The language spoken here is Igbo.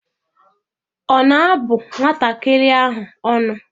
Ọ na-abụ nwatakịrị ahụ ọnụ?